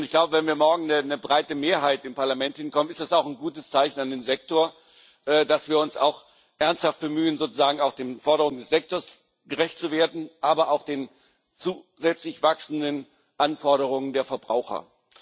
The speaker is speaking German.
Ich glaube, wenn wir morgen eine breite Mehrheit im Parlament hinbekommen, dann ist das auch ein gutes Zeichen an den Sektor, dass wir uns auch ernsthaft bemühen, sozusagen auch den Forderungen des Sektors gerecht zu werden, aber auch den zusätzlich wachsenden Anforderungen der Verbraucher.